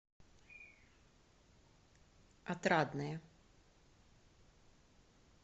отрадное